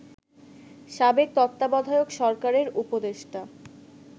সাবেক তত্ত্বাবধায়ক সরকারের উপদেষ্টা